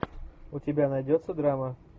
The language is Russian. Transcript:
у тебя найдется драма